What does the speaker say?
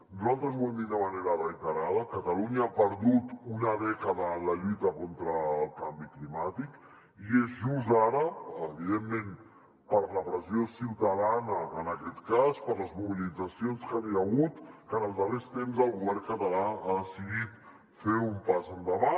nosaltres ho hem dit de manera reiterada catalunya ha perdut una dècada en la lluita contra el canvi climàtic i és just ara evidentment per la pressió ciutadana en aquest cas per les mobilitzacions que hi han hagut que en els darrers temps el govern català ha decidit fer un pas endavant